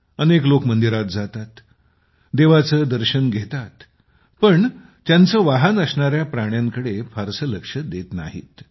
अनेक लोक मंदिरात जातात आणि देवाचे दर्शन घेतात पण त्यांचे वाहन असणाऱ्या प्राण्यांकडे फारसे लक्ष देत नाहीत